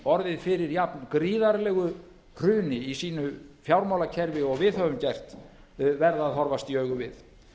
orðið fyrir jafn gríðarlegu hruni í sínu fjármálakerfi og við höfum gert verða að horfast í augu við